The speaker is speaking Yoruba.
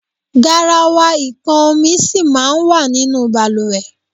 Garawa ipọn omi sì máa ń wà nínú bàlùwẹ̀.